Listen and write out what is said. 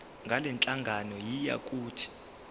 ngalenhlangano yiya kut